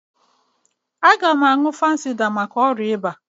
Aga m aṅụ fansida maka ọrịa ịba.